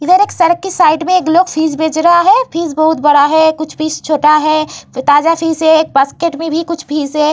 इधर एक सड़क के साइड एक लोग फिश बेच रहा है। फिश बहोत बड़ा है। कुछ फिश छोटा है ताजा फिश है। एक बास्केट में भी कुछ फिश हैं।